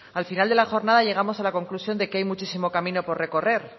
al final de la jornada llegamos a la conclusión de que hay muchísimo camino por recorrer